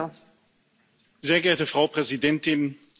Frau Präsidentin, liebe Kolleginnen und Kollegen!